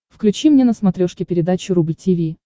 включи мне на смотрешке передачу рубль ти ви